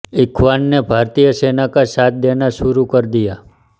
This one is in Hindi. इख्वान ने भारतीय सेना का साथ देना शुरू कर दिया